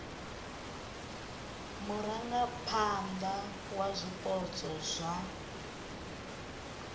ha murangaphana wa zwipotso zwa